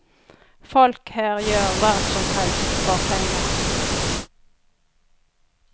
Folk her gjør hva som helst for penger.